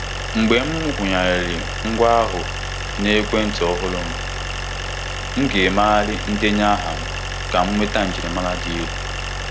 Ndị otu nkwado ndị ahịa nyeere m aka ngwa ngwa megharịa ngwa mkpanaka ụlọ akụ m na ngwaọrụ ọhụrụ.